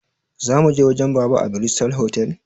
Zamuje wajen baba a bristol otal?